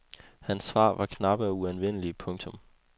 Hans svar var knappe og uanvendelige. punktum